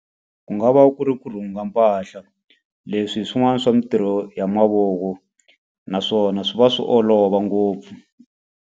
Ku nga va ku ri ku rhunga mpahla. Leswi hi swin'wana swa mintirho ya mavoko, naswona swi va swi olova ngopfu.